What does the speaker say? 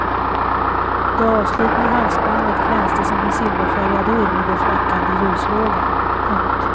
Det avslitna halsbandet glänste som en silverfärgad orm i den flackande ljuslågan. punkt